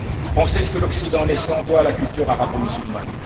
On sait ce que l'Occident naissant doit à la culture arabo musulmane.